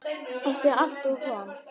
Það er alltaf von.